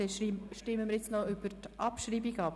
Jetzt stimmen wir noch über die Abschreibung ab.